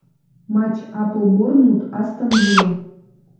матч апл борнмут астон вилла